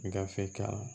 I gafe ka